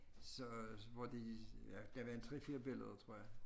Så hvor de ja der var en 3 4 billeder tror jeg